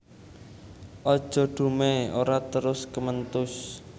Aja dumèh ora terus kementhus